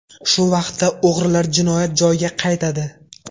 Shu vaqtda o‘g‘rilar jinoyat joyiga qaytadi.